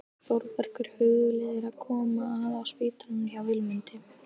Þórbergur hugleiðir að koma að á spítalanum hjá Vilmundi.